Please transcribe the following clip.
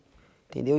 Entendeu?